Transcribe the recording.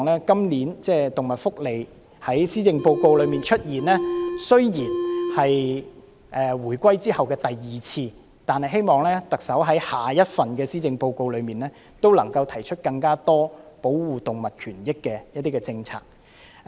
今次施政報告中提及動物福利是回歸後的第二次，我希望特首在下一份施政報告中，能提出更多有關保障動物權益的政策。